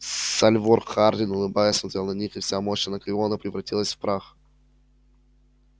сальвор хардин улыбаясь смотрел на них и вся мощь анакреона превратилась в прах